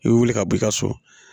I bɛ wuli ka b'i ka so